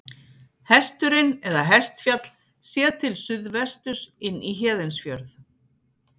Hesturinn eða Hestfjall, séð til suðvesturs inn í Héðinsfjörð.